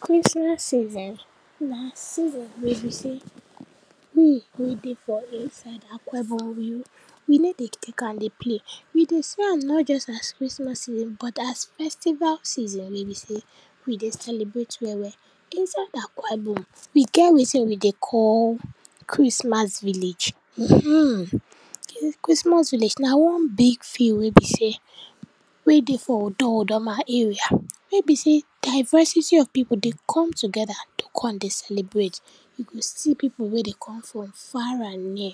Christmas season na season wey be sey we wey dey for inside akwa ibom we we ney dey tek am dey play. We dey see as nor just as Christmas season but as festival season wey be sey we dey celebrate well well. Inside akwa ibom, we get wetin we dey call Christmas village. Humm, Christmas village na one big field wey be sey, we dey for odo-odoma area, wey be sey diversity of pipu dey come togeda to kon dey celebrate, you go see pipu wey dey come from far and near,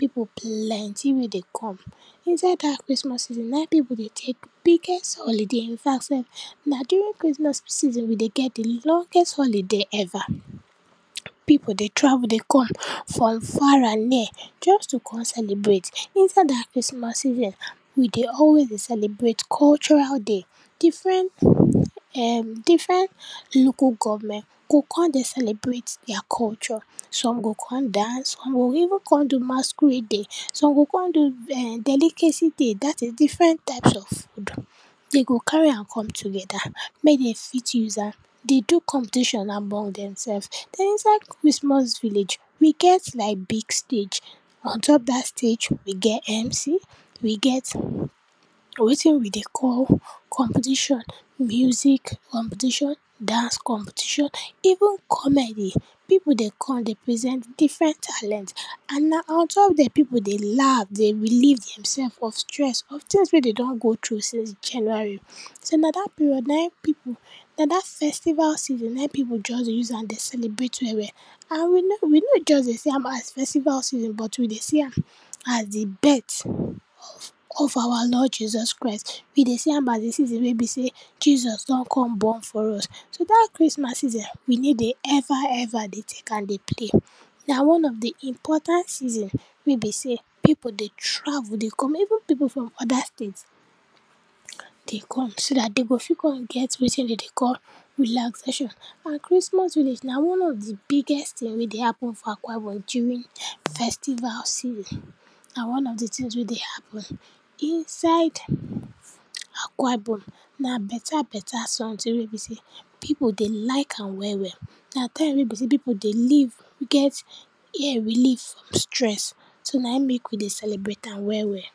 pipu plenty wey dey come. Inside dat Christmas season na pipu dey tek biggest holiday, in fact sef, na during Christmas season we dey get di longeset holiday ever. Pipu dey travel dey come from far and near just to kon celebrate. Inside dat Christmas season, we dey always dey celebrate cultural day, differen um, differen local government go kon dey celebrate dia culture. Some go kon dance, some go even kon do masquerade day, some go kon do um delicacy day, dat is differen types of food. Dey go carry am come togeda, mey den fit use am dey do competition among demselves. Den inside Christmas village, we get like big stage, on top dat stage we get mc, we get wetin we dey call competition, music competition, dance competition, even comedy. Pipu dey kon dey present differen talent, and na on top der pipu dey laugh dey relieve dem self of stress, of tins wey den don go tru since January. So, na dat period nai pipu, na dat festival season nai pipu just dey use am dey celebrate well well and we no, we no just dey see am as festival season, but we dey see am as di birt of of our lord jesus christ. We dey see am as di season wey be sey Jesus don kon born for us. So, dat Christmas season we ney dey ever ever dey tek am dey play. Na one of di important season wey be sey pipu dey travel dey come, even pipu from oda state dey come, so dat den go fit kon get wetin den dey call relaxation and Christmas village na one of di biggest tin wey dey happen for akwa ibom during festival season, na one of di tins wey dey happen inside akwa ibom, na beta beta sometin wey be sey pipu dey like am well well. Na time wey be sey pipu dey live get here relieve stress. So nai mek we dey celebrate am well well.